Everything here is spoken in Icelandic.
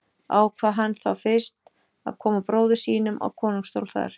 Ákvað hann þá fyrst að koma bróður sínum á konungsstól þar.